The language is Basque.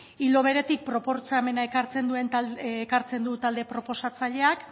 ildo beretik proposamena ekartzen du talde proposatzaileak